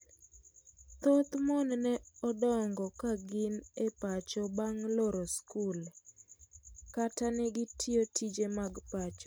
Thoth mon ne odongo ka gin e pacho bang loro skul, kata ne gitiyo tije mag pacho.